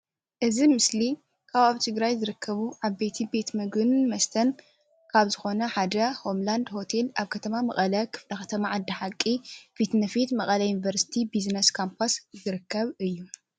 እዚ ምስሊ ካብ ኣብ ትግራይ ዝርከቡ ዓቦይቲ ቤት ምግብን መስተን ካብ ዝኾነ ሓደ ሆምላንድ ሆቴል ኣብ ከተማ መቀለ ክፍለከተማ ዓዲ ሓቂ እዩ። እዚ ኣብ ፊትነፉት መቀለ ዩኒቨርሲቲ ቢዝነስ ካምፓስ ይርከብ።